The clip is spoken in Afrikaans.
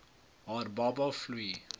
haar baba vloei